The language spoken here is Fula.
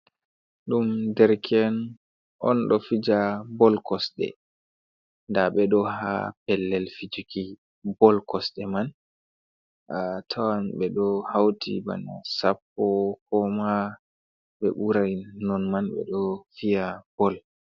Ɗum dereke'en on, ɗo fija bol kosɗe nda ɓe ɗo haa pellel fijuki bol kosde man, a tawan ɓe ɗo hawti ban sappo ko ma ɓe ɓuray non man, ɓe ɗo fiya bol.